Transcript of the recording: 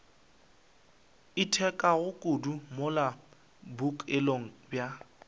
itekago kudu mola bookelong bja